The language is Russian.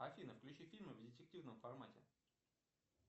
афина включи фильмы в детективном формате